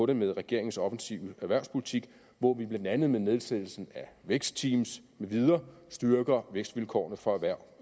det med regeringens offensive erhvervspolitik hvor vi blandt andet med nedsættelsen af vækstteams med videre styrker vækstvilkårene for erhverv